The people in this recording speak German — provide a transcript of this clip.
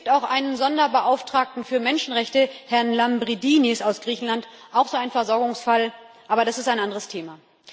Es gibt auch einen Sonderbeauftragten für Menschenrechte, Herrn Lambrinidis aus Griechenland, auch so ein Versorgungsfall, aber das ist ein anderes Thema.